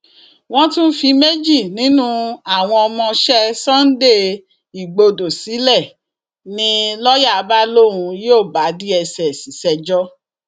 wọn tún fi méjì nínú àwọn ọmọọṣẹ sunday igbodò sílẹ ni lọọyà bá lóun yóò bá dss ṣẹjọ